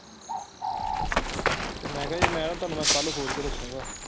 ਤੇ ਮੈਂ ਕਿਹਾ ਮੈਂ ਹੁਣ ਕੱਲ ਸੋਚ ਕੇ ਦੱਸੋਗੇ।